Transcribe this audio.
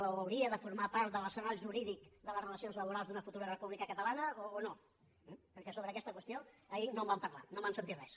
o hauria de formar part de l’arsenal jurídic de les relacions laborals d’una futura república catalana o no perquè sobre aquesta qüestió ahir no en van parlar no en vam sentir res